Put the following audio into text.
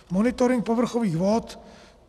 Monitoring povrchových vod.